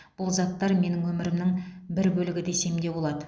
бұл заттар менің өмірімнің бір бөлігі десем де болады